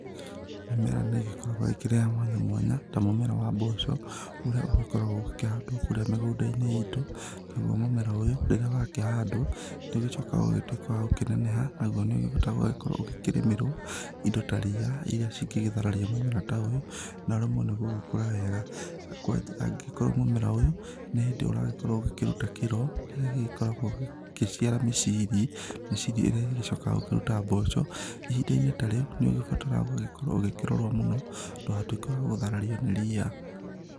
Mĩmera nĩ ĩgĩkoragwo ĩkĩrĩ ya mwanya mwanya ta mũmera wa mboco ũrĩa ũgĩkoragwo ũkĩhandwo kũrĩa mĩgũnda-inĩ itũ nagũo mũmera ũyũ rĩrĩa wakĩhandwo nĩ ũgĩcokaga ũgagĩtuĩka wa gũkĩneneha nagũo nĩ ũbataraga gũkorwo ũkĩrĩmĩrwo indo ta rĩa iria ingĩ thararia mũmera ta ũyũ na ũremwo nĩ gũgĩkũra wega, angĩkorwo mũmera ũyũ nĩ hĩndĩ ũragĩkorwo ũgĩkĩrũta kĩro kĩrĩa gĩkorawa gĩgĩciara mĩciri miciri ĩrĩa ĩgĩcokaga kũrũta mboco ihinda-inĩ ta rĩu, nĩ ũgĩbataraga gũgĩkorwo ũgĩkĩrorwo mũno ndũgatuĩke wa gũtharario nĩ ria.